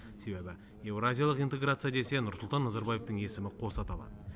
себебі еуразиялық интеграция десе нұрсұлтан назарбаевтың есімі қоса аталады